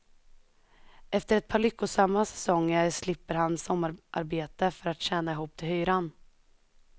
Efter ett par lyckosamma säsonger slipper han sommararbete för att tjäna ihop till hyran.